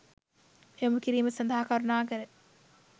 යොමුකිරීම සඳහා කරුණාකර